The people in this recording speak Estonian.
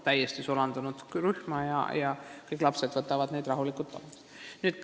Sisserändajate lapsed on täiesti rühma sulandunud, teised lapsed võtavad nad rahulikult omaks.